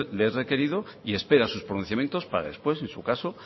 les es requerido y espera sus pronunciamientos para después en su caso